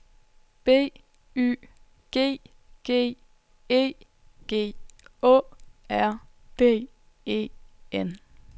B Y G G E G Å R D E N